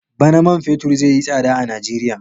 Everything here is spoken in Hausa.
Bana man fetur zai yi tsada a Nijeriya.